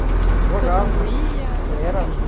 Como que, jogava, todo mundo ia? Era. Onde é que era?